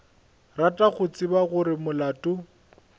rata go tseba gore molato